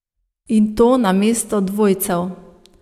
In to namesto dvojcev ...